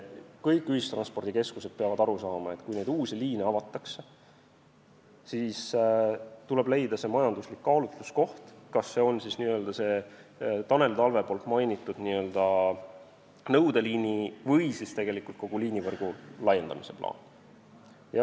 Kõik ühistranspordikeskused peavad aru saama, et kui uusi liine avatakse, siis tuleb leida see majanduslik kaalutluskoht, kas see on näiteks Tanel Talve mainitud nõudeliini või siis kogu liinivõrgu laiendamise plaan.